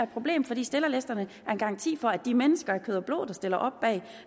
problem fordi stillerlisterne er en garanti for at de mennesker af kød og blod der stiller op bag